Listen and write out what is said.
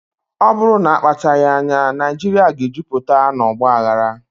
Ọ bụrụ na akpachaghị anya, Naijiria ga-ejupụta na ọgba aghara.